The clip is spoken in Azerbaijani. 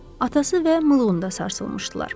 Atası və Mılqonda sarsılmışdılar.